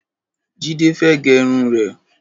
Jide fẹ̀ gẹrún rẹ